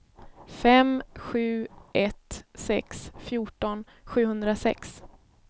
fem sju ett sex fjorton sjuhundrasex